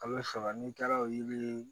A' be faga n'i taara o yiri